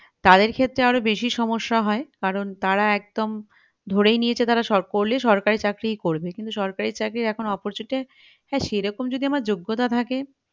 তাদের ক্ষেত্রে আরো বেশী সমস্যা হয় কারণ তারা একদম ধরেই নিয়েছে তারা সরকার করলে তারা সরকারি চাকরিই করবে সরকারি চাকরির এখন opportunity সেরকম যদি আমার যোগ্যতা থাকে